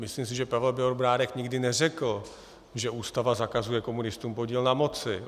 Myslím si, že Pavel Bělobrádek nikdy neřekl, že Ústava zakazuje komunistům podíl na moci.